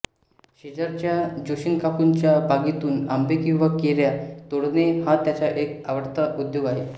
शेजारच्या जोशीकाकूंच्या बागेतून आंबे किंवा कैऱ्या तोडणे हा त्याचा एक आवडता उद्योग आहे